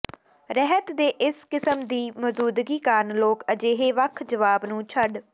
ਰਹਿਤ ਦੇ ਇਸ ਕਿਸਮ ਦੀ ਦੀ ਮੌਜੂਦਗੀ ਕਾਰਨ ਲੋਕ ਅਜਿਹੇ ਵੱਖ ਜਵਾਬ ਨੂੰ ਛੱਡ